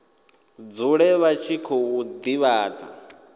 dzule vha tshi khou divhadza